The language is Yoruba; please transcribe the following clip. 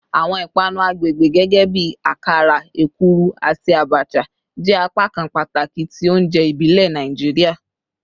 Awọn ipanu agbegbe gẹgẹbi akara, ekuru, ati abacha jẹ apakan pataki ti ounjẹ ibile Naijiria